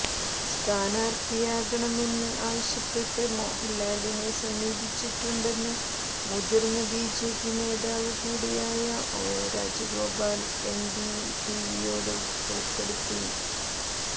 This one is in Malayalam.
സ്ഥാനാര്ത്ഥിയാകണമെന്ന് ആവശ്യപ്പെട്ട് മോഹൻലാലിനെ സമീപിച്ചിട്ടുണ്ടെന്ന് മുതിർന്ന ബിജെപി നേതാവ് കൂടിയായ ഒ രാജഗോപാൽ എന്ഡിടിവിയോട് വെളിപ്പെടുത്തി